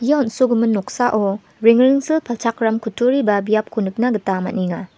ia on·sogimin noksao rengrengsil palchakram kutturi ba biapko nikna gita man·enga.